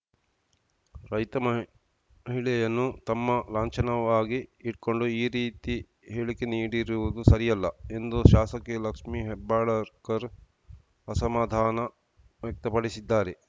ರೈತ ಮಹಿಳೆಯನ್ನು ತಮ್ಮ ಲಾಂಛನವಾಗಿ ಇಟ್ಕೊಂಡು ಈ ರೀತಿ ಹೇಳಿಕೆ ನೀಡಿರುವುದು ಸರಿಯಲ್ಲ ಎಂದು ಶಾಸಕಿ ಲಕ್ಷ್ಮಿ ಹೆಬ್ಬಾಳಕರ್‌ ಅಸಮಾಧಾನ ವ್ಯಕ್ತಪಡಿಸಿದ್ದಾರೆ